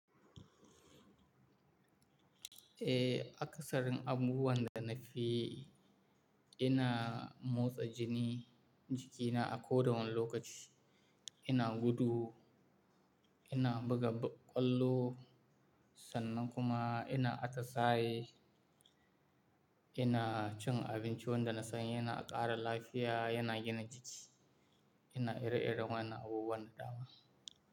Eh akasarin abubuwan da na fi ina motsa jini jikina a ko da wane lokaci. Ina gudu, ina buga kwallo, sannan kuma ina atasahe. Ina cin abinci wanda na sani, yana ƙara lafiya, yana gina jiki, ina ire-iren wayanna abubuwan da ɗama.